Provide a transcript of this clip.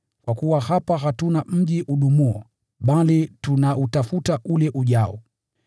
Kwa kuwa hapa hatuna mji udumuo, bali tunautafuta ule ujao.